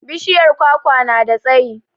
Bishiyar kwakwa na da tsayi